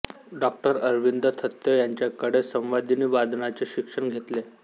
डॉ अरविंद थत्ते यांच्याकडे संवादिनी वादनाचे शिक्षण घेतले